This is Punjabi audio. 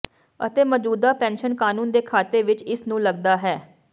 ਅਤੇ ਮੌਜੂਦਾ ਪੈਨਸ਼ਨ ਕਾਨੂੰਨ ਦੇ ਖਾਤੇ ਵਿੱਚ ਇਸ ਨੂੰ ਲੱਗਦਾ ਹੈ